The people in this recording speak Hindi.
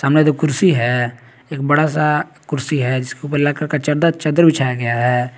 दो कुर्सी है एक बड़ा सा कुर्सी है जिसके ऊपर लाल कलर का चद्दर चद्दर बिछाया गया है।